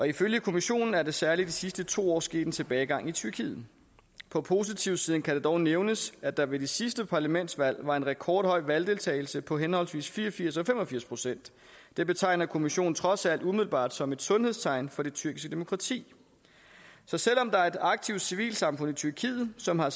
ifølge kommissionen er der særlig i de sidste to år sket en tilbagegang i tyrkiet på positivsiden kan det dog nævnes at der ved de sidste parlamentsvalg var en rekordhøj valgdeltagelse på henholdsvis fire og firs og fem og firs procent det betegner kommissionen trods alt umiddelbart som et sundhedstegn for det tyrkiske demokrati så selv om der er et aktivt civilsamfund i tyrkiet som har